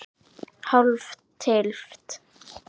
Hálf tylft?